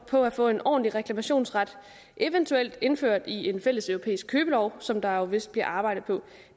på at få en ordentlig reklamationsret eventuelt indført i en fælles europæisk købelov som der vist bliver arbejdet på